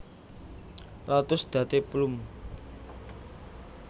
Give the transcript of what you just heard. lotus Date plum